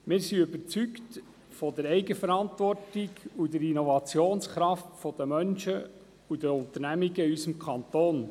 Wir sind überzeugt von der Eigenverantwortung und der Innovationskraft der Menschen und der Unternehmungen in unserem Kanton.